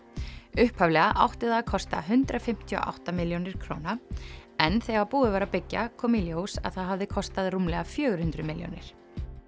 upphaflega átti það að kosta hundrað fimmtíu og átta milljónir króna en þegar búið var að byggja kom í ljós að það hafði kostað rúmlega fjögur hundruð milljónir